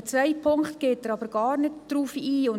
Auf den zweiten Punkt geht er jedoch überhaupt nicht ein.